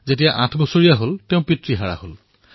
আঠ বছৰ বয়সত তেওঁ নিজৰ পিতৃক হেৰুৱাইছিল